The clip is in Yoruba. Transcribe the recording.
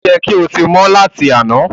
o yẹ kí o tí mọ lati àna!